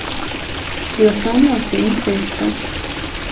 Pri osnovni oceni sredstev.